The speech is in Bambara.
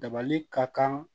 Dabali ka kan